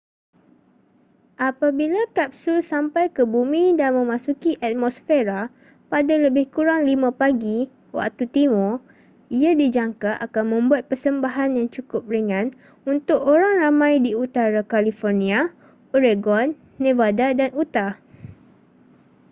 aapabiloa kapsul sampai ke bumi dan memasuki atmosfera pada lebih kurang 5pagi waktu timur ia dijangka akan membuat persembahan yang cukup ringan untuk orang ramai di utara carlifornia oregon nevada dan utah